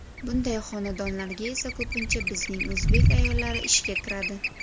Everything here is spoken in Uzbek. Bunday xonadonlarga esa ko‘pincha bizning o‘zbek ayollari ishga kiradi.